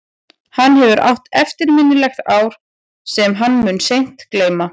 Hann hefur átt eftirminnilegt ár sem hann mun seint gleyma.